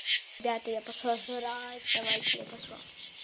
ребята я пошла жрать давайте я пошла